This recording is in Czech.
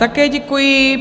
Také děkuji.